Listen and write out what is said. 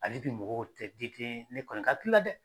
Hali bi mɔgɔw tɛ ne kɔni kakilila dɛ.